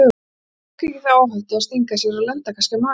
Hann tók ekki þá áhættu að stinga sér og lenda kannski á maganum.